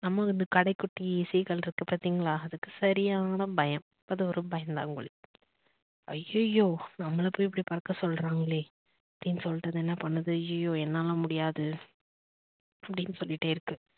நமக்கு இந்த கடைக்குட்டி seegal இருக்கு பாத்தீங்களா அதுக்கு சரியான பயம் அது ஒரு பயந்தாங்கோலி. ஐயோ ஐயோ நம்மள போய் இப்படி பறக்க சொல்றாங்களே அப்படின்னு சொல்லிட்டு அது என்ன பண்ணுது ஐயோ ஐயோ என்னாலலாம் முடியாது அப்படின்னு சொல்லிட்டே இருக்கு